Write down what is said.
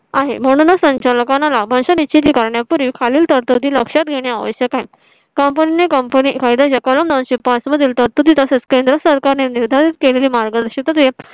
आहे म्हणूनच संचालकांना लाभांश निश्चित करण्यापूर्वी खालील तरतुदी लक्षात घेणे आवश्यक आहे company कायदा चे कारण नऊ शे पाच मधील तरतुदी तसेच केंद्र सरकारने निर्धारित केलेली मार्गदर्शित.